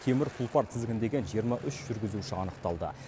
темір тұлпар тізгіндеген жиырма үш жүргізуші анықталды